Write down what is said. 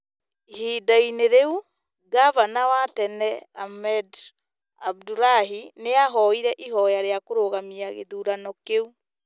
Ihinda-inĩ rĩu, ngavana wa tene Ahmed Abdulahi nĩ aahoire ihoya rĩa kũrũgamia gĩthurano kĩu